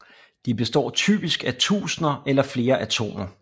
De består typisk af tusinder eller flere atomer